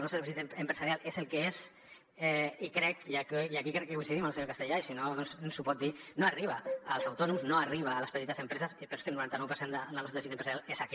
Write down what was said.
el nostre teixit empresarial és el que és i crec i aquí crec que coincidim amb el senyor castellà i si no ens ho pot dir que no arriba als autònoms no arriba a les petites empreses però és que el noranta nou per cent del nostre teixit empresarial és aquest